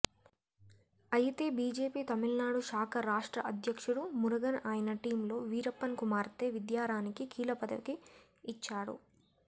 అయితే బీజేపీ తమిళనాడు శాఖ రాష్ట్ర అధ్యక్షుడు మురుగన్ ఆయన టీంలో వీరప్పన్ కుమార్తె విద్యారాణికి కీలకపదవి ఇచ్చారు